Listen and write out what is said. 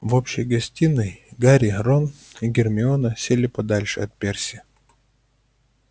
в общей гостиной гарри рон и гермиона сели подальше от перси